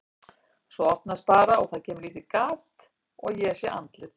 Svo opnast bara og það kemur lítið gat og ég sé andlit.